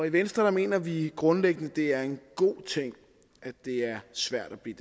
i venstre mener vi grundlæggende at det er en god ting at det er svært at blive